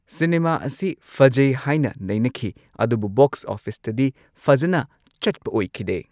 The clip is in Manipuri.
ꯁꯤꯅꯦꯃꯥ ꯑꯁꯤ ꯐꯖꯩ ꯍꯥꯢꯅ ꯅꯩꯅꯈꯤ ꯑꯗꯨꯕꯨ ꯕꯣꯛꯁ ꯑꯣꯐꯤꯁꯇꯗꯤ ꯐꯖꯅ ꯆꯠꯄ ꯑꯣꯢꯈꯤꯗꯦ꯫